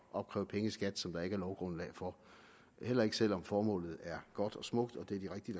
opkræve penge i skat som der ikke er lovgrundlag for at opkræve heller ikke selv om formålet er godt og smukt og det er de rigtige